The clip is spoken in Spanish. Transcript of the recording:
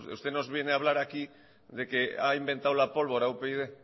usted nos viene a hablar aquí de que a inventado la pólvora upyd